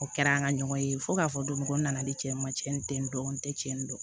O kɛra an ka ɲɔgɔn ye fo k'a fɔ donmɔgɔ nana ni cɛ ye n tɛ dɔn n tɛ cɛn dɔn